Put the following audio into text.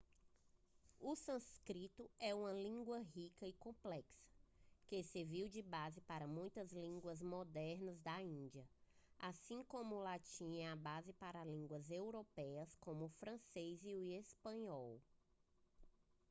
o sânscrito é uma língua rica e complexa que serviu de base para muitas línguas modernas da índia assim como o latim é a base para línguas europeias como o francês e o espanhol